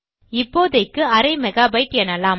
இப்போதைக்கு அரை மெகாபைட்டு எனலாம்